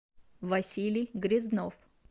василий грязнов